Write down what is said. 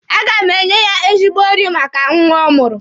A ga m enye ya ezigbo nri maka nwa ọ mụrụ.